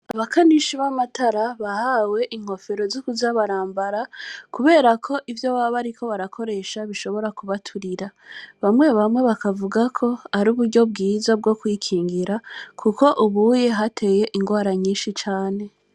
Abakanishi bamatara bahawe inkofero zukuza barambara kuberako ivyo baba bariko barakoresha bishobora kubaturira ,bamwe bamwe bakavuga KO aruburyo bwokwikingira kuko ubu hateye ingwara nyishi cane.